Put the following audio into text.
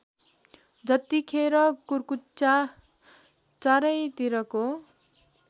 जतिखेर कुर्कुच्चा चारैतिरको